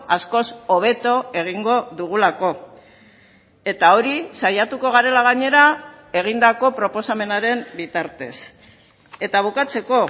askoz hobeto egingo dugulako eta hori saiatuko garela gainera egindako proposamenaren bitartez eta bukatzeko